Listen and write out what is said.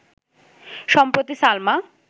সম্প্রতি সালমা